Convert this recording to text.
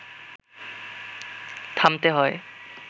থামতে হয়